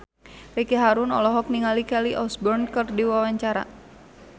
Ricky Harun olohok ningali Kelly Osbourne keur diwawancara